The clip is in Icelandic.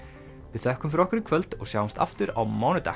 við þökkum fyrir okkur í kvöld og sjáumst aftur á mánudag